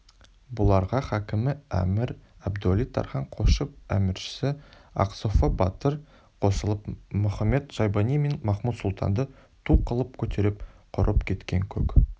бұларға хакімі әмір әбдуәли-тархан қосшы әміршісі ақсофы батыр қосылып мұхамед-шайбани мен махмуд-сұлтанды ту қылып көтеріп құрып кеткен көк